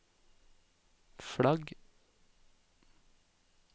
flagg